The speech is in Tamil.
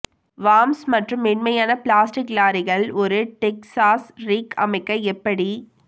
வார்ம்ஸ் மற்றும் மென்மையான பிளாஸ்டிக் லாரிகள் ஒரு டெக்சாஸ் ரிக் அமைக்க எப்படி